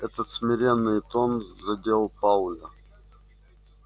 этот смиренный тон задел пауэлла